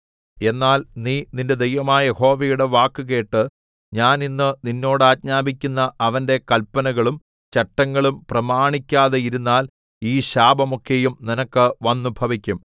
എന്നാൽ നീ നിന്റെ ദൈവമായ യഹോവയുടെ വാക്കുകേട്ട് ഞാൻ ഇന്ന് നിന്നോട് ആജ്ഞാപിക്കുന്ന അവന്റെ കല്പനകളും ചട്ടങ്ങളും പ്രമാണിക്കതെയിരുന്നാൽ ഈ ശാപം ഒക്കെയും നിനക്ക് വന്നുഭവിക്കും